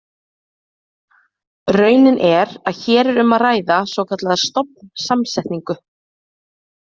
Raunin er að hér er um að ræða svokallaða stofnsamsetningu.